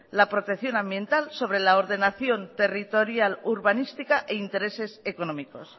la protección ambiental sobre la ordenación territorial urbanística e intereses económicos